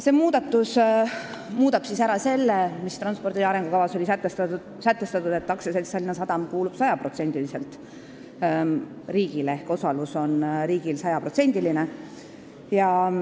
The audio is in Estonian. " Nii soovitakse muuta transpordi arengukavas sätestatut, et AS Tallinna Sadam kuulub sajaprotsendiliselt riigile ehk riigi osalus on 100%.